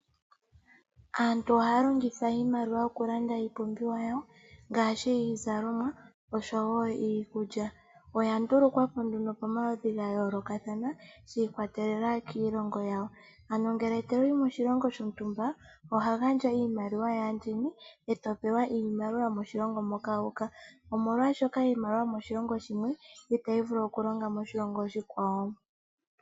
Aantu ohaya longitha iimaliwa okulanda iipumbiwa yawo ngaashi iizalomwa osho woo iikulya oya ndulukwapo nduno pomaludhi gayoolokathana shi ikwatelela kiilongo yawo ano ngele toyi moshilongo shontumba oho gandja iimaaliwa yaandjeni ee to pewa iimaliwa yomoshilongo moka omolwaashoka iimaliwa yomoshilongo shimwe itayi vulu okulonga moshilongo oshikwawo.